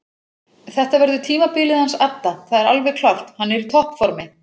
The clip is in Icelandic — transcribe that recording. Þetta verður tímabilið hans adda það er alveg klárt hann er í toppformi.